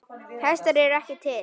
Hestar eru ekki til.